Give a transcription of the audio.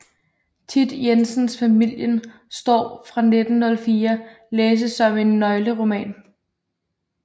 Thit Jensens Familien Storm fra 1904 læses som en nøgleroman